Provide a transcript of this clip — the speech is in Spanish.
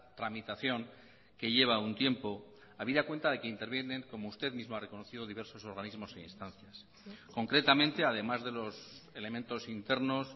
tramitación que lleva un tiempo habida cuenta de que intervienen como usted mismo ha reconocido diversos organismos e instancias concretamente además de los elementos internos